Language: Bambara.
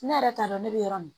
Ne yɛrɛ t'a dɔn ne bɛ yɔrɔ min